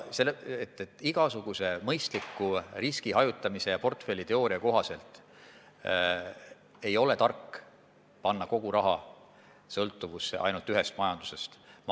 Igasuguse mõistliku riskihajutamise ja portfelliteooria kohaselt ei ole tark panna kogu raha sõltuvusse ainult ühest majandusest.